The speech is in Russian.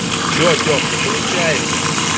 что артем не получается